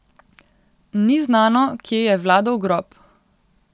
Ni znano, kje je Vladov grob.